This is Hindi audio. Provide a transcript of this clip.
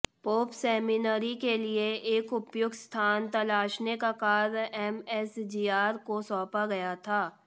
पोप सेमिनरी के लिए एक उपयुक्त स्थान तलाशने का कार्य एमएसजीआर को सौंपा गया था